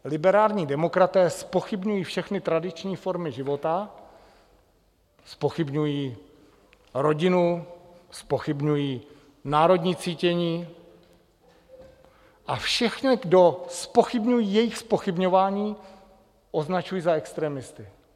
Liberální demokraté zpochybňují všechny tradiční formy života, zpochybňují rodinu, zpochybňují národní cítění a všechny, kdo zpochybňují jejich zpochybňování, označují za extremisty.